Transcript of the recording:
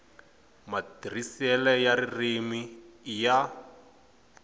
matirhiselo ya ririmi i ya